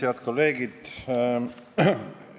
Head kolleegid!